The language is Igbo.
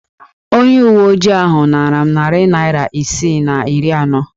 Onye uwe ojii ahụ naara m nari naịra isi na iri anọ.